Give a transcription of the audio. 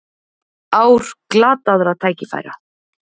Ár glataðra tækifæra